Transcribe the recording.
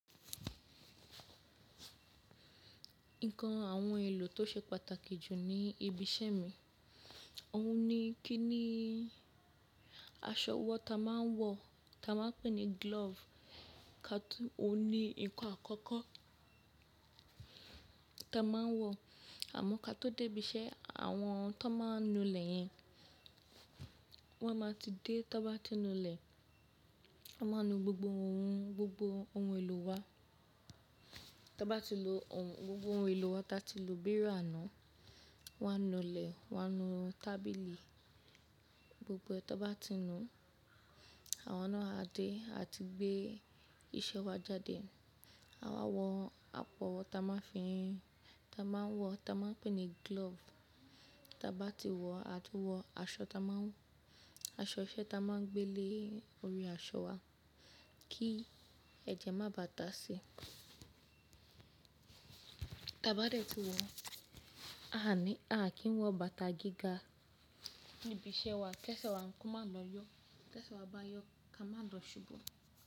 Nǹkan àwọn ohun èlò tó ṣe pàtàkì jù ní ibi iṣẹ́ mi, òun ni kíni aṣọ wọ́ ta máa ń wọ̀ ta máa ń pè ní glove, ka tó, òun ni ǹkan àkọ́kọ́ ta máa ń wọ̀, àmọ́ ká tó dé ibi iṣẹ́ àwọn tó máa ń nu ilẹ̀ yẹn, wọ́n máa ti dé tó bá ti nu ilẹ̀, wọ́n máa nu gbogbo ohun, gbogbo ohun èlò wa. Tí a bá ti nu ohun, gbogbo ohun èlò wa ta ti lu bí iru àná, wọ́n á nu ilẹ̀, wọ́n á nu tábìlì, gbogbo ẹ́ tó bá ti nu, àwa náà á dé a tun gbé iṣẹ́ wa jáde. Àwa wọ apọ ta máa fín, ta máa ń wọ̀ ta máa ń pè ní glove, ta bá ti wọ̀ a tún wọ aṣọ ta máa ń wọ̀, aṣọ iṣẹ́ ta máa ń gbé lé orí aṣọ wa kí ẹ̀jẹ̀ má bàtà sí i. Ta bá dẹ̀ tí wọ̀, a a ní, a a kì ń wọ bàtà gíga níbi iṣẹ́ wa, kí ẹṣẹ́ wa nǹkan má lọ yọ, kí ẹṣẹ́ wa bá yọ ká má lọ ṣubú.